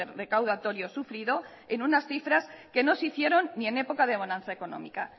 recaudatorio sufrido en unas cifras que no se hicieron ni en época de bonanza económica